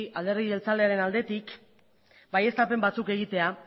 alderdi jeltzalearen aldetik baieztapen batzuk egitea